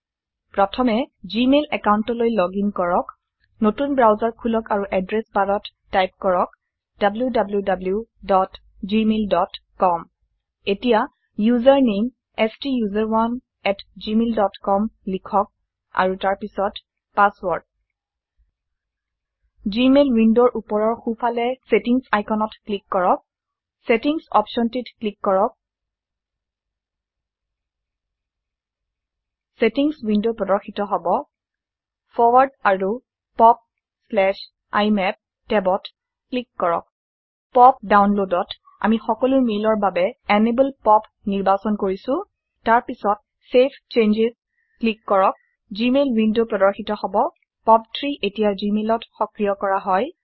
প্ৰথমে জিমেইল একাউন্টলৈ লগইন কৰক নতুন ব্ৰাউজাৰ খুলক আৰু এড্ৰেস বাৰত টাইপ কৰক wwwgmailcom এতিয়া ইউজাৰ নেম ষ্টাচাৰণে এট জিমেইল ডট কম লিখক আৰু তাৰপিছত পাসওয়াৰ্ড জিমেইল উইন্ডোৰ উপৰৰ সো ফালে সেটিংস আইকনত ক্লিক কৰক সেটিংস অপশনটিত ক্লিক কৰক সেটিংস উইন্ডো প্ৰদৰ্শিত হব ফয়াৰ্ড আৰু পপ ইমাপ ট্যাব ক্লিক কৰক পপ ডাউনলোডত আমি সকলো মেইলৰ বাবে এনেবল পপ নিৰ্বাচন কৰিছো তাৰপিছত চেভ চেঞ্জছ ক্লিক কৰক জিমেইল উইন্ডো প্ৰদৰ্শিত হব পপ 3 এতিয়া জিমেইল ত সক্ৰিয় কৰা হয়160